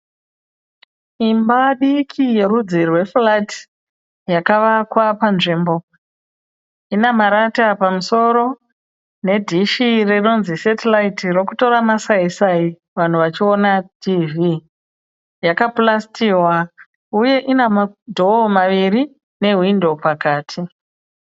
Imba diki yerudzi rwe (flat) yakavakwa panzvimbo. Ine marata pamusoro nedhishi rinonzi (satellite) rokutora masaisai vanhu vachiona tivhii. Yakapurasitiwa, uye ine madhoo maviri nehwindo pakati.